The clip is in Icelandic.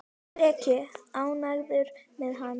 Hana bar óvænt að.